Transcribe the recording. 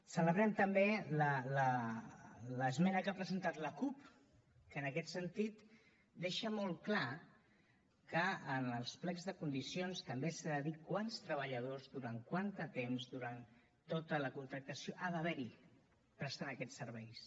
celebrem també l’esmena que ha presentat la cup que en aquest sentit deixa molt clar que en els plecs de condicions també s’ha de dir quants treballadors durant quant de temps durant tota la contractació ha d’haver hi prestant aquests serveis